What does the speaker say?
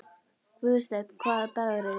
Guðstein, hvaða dagur er í dag?